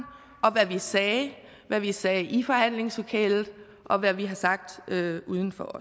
og hvad vi sagde hvad vi sagde i forhandlingslokalet og hvad vi har sagt uden for